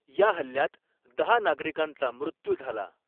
या हल्ल्यात दहा नागरिकांचा मृत्यू झाला.